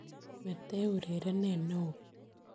Mete urerenet neo.